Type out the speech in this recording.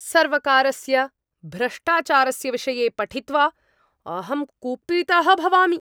सर्वकारस्य भ्रष्टाचारस्य विषये पठित्वा अहं कुपितः भवामि।